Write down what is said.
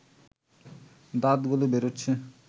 দাঁতগুলো বেরুচ্ছে